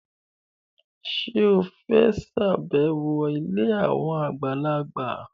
Ṣé o fẹ́ ṣàbẹ̀wọ̀ ilé àwọn àgbàlagbà?